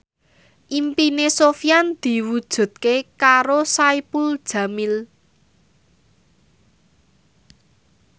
impine Sofyan diwujudke karo Saipul Jamil